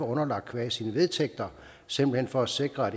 underlagt qua sine vedtægter simpelt hen for at sikre at